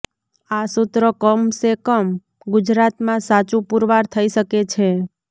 આ સુત્ર કમસે કમ ગુજરાતમા સાચુ પુરવાર થઈ શકે છે